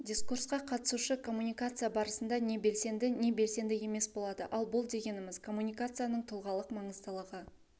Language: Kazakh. дискурсқа қатысушы коммуникация барысында не белсенді не белсенді емес болады ал бұл дегеніміз коммуникацияның тұлғалық маңыздылығы